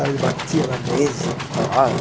Ele batia na mesa para falar.